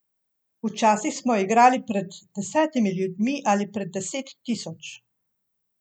Včasih smo igrali pred desetimi ljudmi ali pred deset tisoč.